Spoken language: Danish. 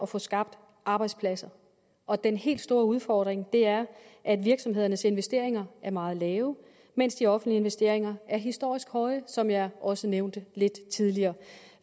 få skabt arbejdspladser og den helt store udfordring er at virksomhedernes investeringer er meget lave mens de offentlige investeringer er historisk høje som jeg også nævnte lidt tidligere